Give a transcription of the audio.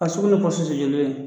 A sugu be pɔsu jojoli ye